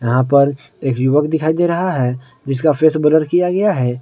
यहां पर एक युवक दिखाई दे रहा है जिसका फेस ब्लर किया गया है।